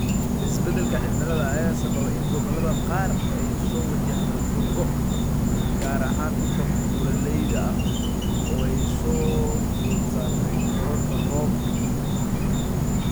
Isbadalka cimilada ayaa sababa in gobolada qaar ay soo wajahdo dhul go�, gaar ahaan dhulka buuraleyda ah oo ay soo food saartay kororka roobabka.